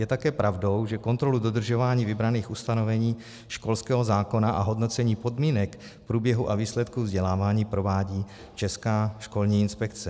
Je také pravdou, že kontrolu dodržování vybraných ustanovení školského zákona a hodnocení podmínek, průběhu a výsledku vzdělávání provádí Česká školní inspekce.